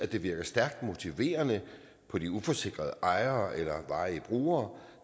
det virker stærkt motiverende på de uforsikrede ejere eller varige brugere